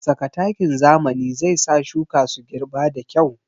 Saka takin zamani zai sa shuka su girɓa da kyau